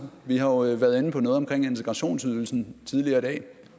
vi har jo været inde på noget omkring integrationsydelsen tidligere i dag